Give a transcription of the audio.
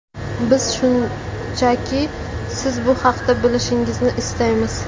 Biz shunchaki siz bu haqda bilishingizni istaymiz”.